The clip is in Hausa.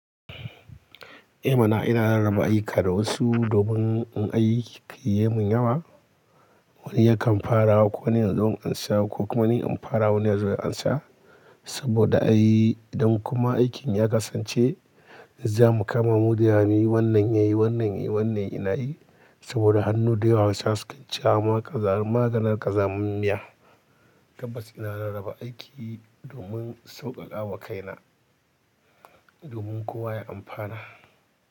I mana! Ina rarraba ayyuka da wasu domin in aiki ya ka mun yawa. Wani yakan farawa koni nazo in ansa ko kuma ni in fara wani yazo ya ansa. Saboda a yi idan kuma aikin ya kasance za mu kama mu da yawa muyi wannan yayi wannan yayi wannan ina yi. Saboda hannu da yawa hausawa suke ce wa kazar maganin kazamar miya. Tabbas ina rarraba aiki domin sauƙaƙawa kaina domin kowa ya amfana.